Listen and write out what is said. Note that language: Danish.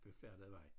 Befærdede vej